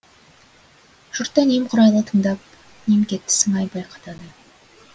жұрт та немқұрайлы тыңдап немкетті сыңай байқатады